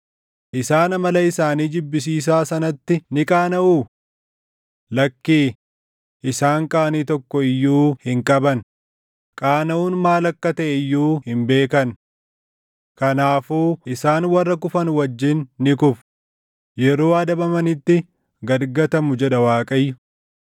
Isaan amala isaanii jibbisiisaa sanatti ni qaanaʼuu? Lakkii, isaan qaanii tokko iyyuu hin qaban; qaanaʼuun maal akka taʼe iyyuu hin beekan. Kanaafuu isaan warra kufan wajjin ni kufu; yeroo adabamanitti gad gatamu jedha Waaqayyo.